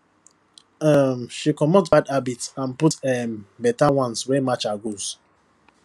um she comot bad habits and put um better ones wey match her goals